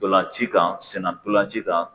Dɔlnci kan sennan dɔlanci kan.